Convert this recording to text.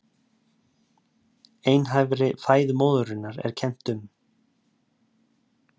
Einhæfri fæðu móðurinnar er kennt um